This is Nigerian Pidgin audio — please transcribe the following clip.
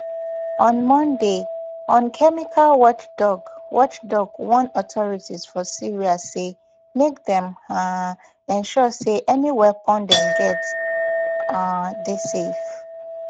on monday un chemical watchdog watchdog warn authorities for syria say make dem um ensure say any weapon dem get um dey safe